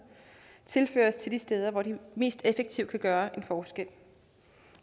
tilføres de steder hvor de mest effektivt kan gøre en forskel